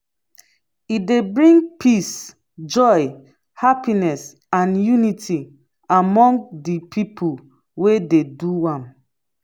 e dey bring peace joy happiness and unity among de people wey de do am.